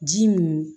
Ji munu